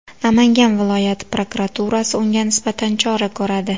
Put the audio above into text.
Namangan viloyati prokuraturasi unga nisbatan chora ko‘radi.